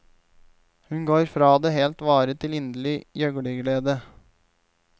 Hun går fra det helt vare til inderlig gjøglerglede.